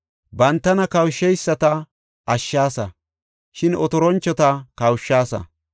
Bantana kawusheyisata ashshaasa; shin otoranchota kawushaasa.